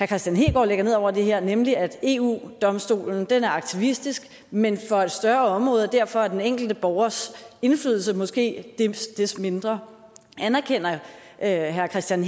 kristian hegaard lægger ned over det her nemlig at eu domstolen er aktivistisk men for et større område og derfor er den enkelte borgers indflydelse måske desto mindre anerkender herre kristian